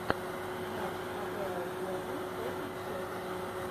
матч апл берли против челси